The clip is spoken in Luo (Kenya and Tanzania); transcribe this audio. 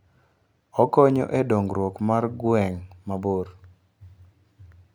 Okonyo e dongruok mar gweng' mabor.